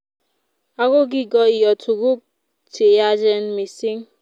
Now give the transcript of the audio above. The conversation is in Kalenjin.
Ago kigoio tuguk cheyachen mising